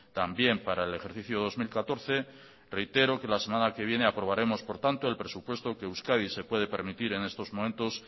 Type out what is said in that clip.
también para el ejercicio dos mil catorce reitero que la semana que viene aprobaremos por tanto el presupuesto que euskadi se puede permitir en estos momentos